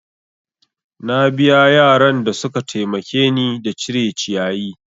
Na biya yaran da suka taimake ni da cire ciyayi.